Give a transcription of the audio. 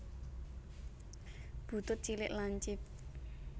Butut cilik lancip